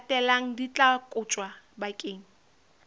latelang di tla kotjwa bakeng